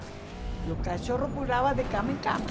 E o cachorro pulava de cama em cama.